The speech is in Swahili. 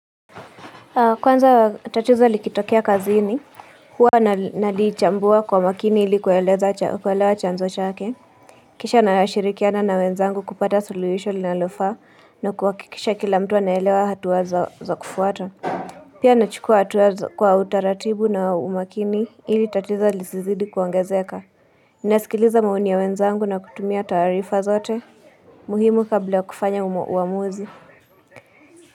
Kwanza tatizo likitokea kazini. Hua nalichambua kwa makini ili kuelewa chanzo chake. Kisha nashirikiana na wenzangu kupata suluhisho linalofaa na kuha kikisha kila mtu wa naelewa hatua za kufuata. Pia nachukua hatuwa za kwa utaratibu na umakini ili tatizo lisizidi kuongaezeka. Inasikiliza maoni ya wenzangu na kutumia tarifa zote. Muhimu kabla kufanya uamuzi.